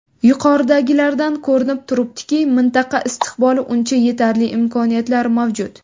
Yuqoridagilardan ko‘rinib turibdiki, mintaqa istiqboli uchun yetarli imkoniyatlar mavjud.